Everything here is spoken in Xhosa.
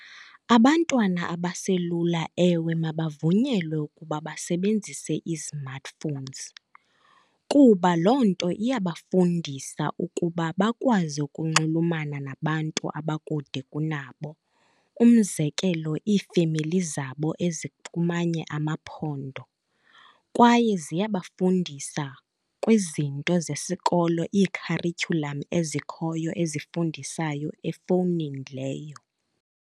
Abantwana abaselula, ewe, mabavunyelwe ukuba basebenzise ii-smartphones. Kuba loo nto iyabafundisa ukuba bakwazi ukunxulumana nabantu abakude kunabo, umzekelo iifemeli zabo ezikumanye amaphondo. Kwaye ziyabafundisa kwizinto zesikolo, ii-curriculum ezikhoyo ezifundisayo efowunini leyo.